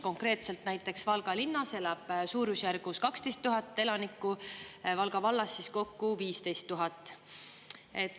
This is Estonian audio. Konkreetselt näiteks Valga linnas elab suurusjärgus 12 000 elanikku, Valga vallas siis kokku 15 000.